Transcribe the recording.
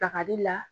Bakari la